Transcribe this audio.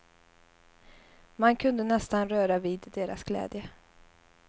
Man kunde nästan röra vid deras glädje.